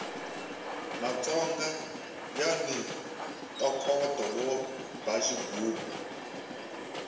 matsonga yani ntokoto wo ba xigubu